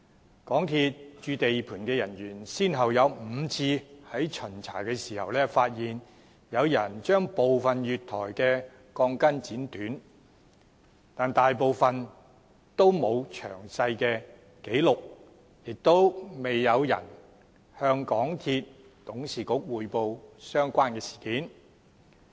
香港鐵路有限公司駐地盤的人員先後有5次在巡查時發現，有人將部分月台的鋼筋剪短，但大部分都沒有作詳細記錄，亦未有人向港鐵公司董事局匯報相關的事件。